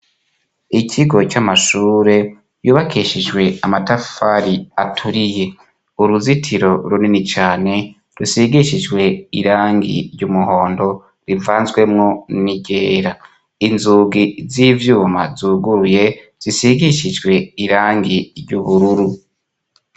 ikigo c'amashure yubakishijwe amatafari aturiye. uruzitiro runini cane rusigishijwe irangi ry'umuhondo rivanzwemwo nigera. inzugi z'ivyuma zuguruye, zisigishijwe irangi ry'ubururu.